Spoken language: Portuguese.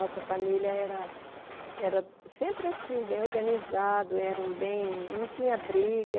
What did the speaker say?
Nossa família era... Era sempre assim, bem organizado, era um bem... Não tinha briga.